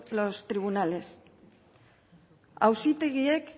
los tribunales auzitegiek